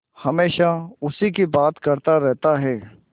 हमेशा उसी की बात करता रहता है